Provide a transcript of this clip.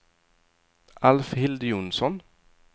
Alfhild Jonsson